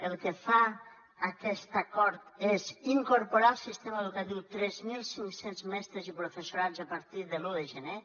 el que fa aquest acord és incorporar al sistema educatiu tres mil cinc cents mestres i professorat a partir de l’un de gener